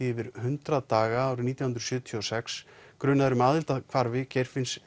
yfir hundrað daga árið nítján hundruð sjötíu og sex grunaðir um aðild að hvarfi Geirfinns